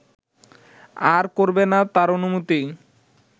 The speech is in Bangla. আর করবে না তার অনুমতি